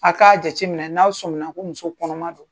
A k'a jateminɛ n'aw sominna ko muso kɔnɔma don.